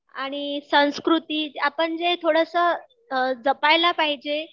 आणि संस्कृती आपण जे थोडंसं जपायला पाहिजे